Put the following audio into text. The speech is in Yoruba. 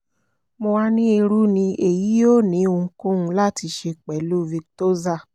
mo wa ni iru ni eyi yoo ni ohunkohun lati ṣe pẹlu victoza